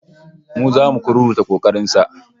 Mu zamu kururuta kokarin sa